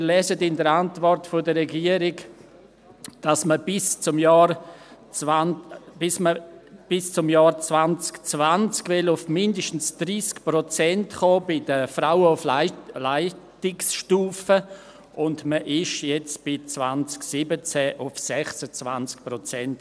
Wir lesen in der Antwort der Regierung, dass man bei den Frauen auf Leitungsstufe bis zum Jahr 2020 auf mindestens 30 Prozent kommen will, und 2017 war man bei 26 Prozent.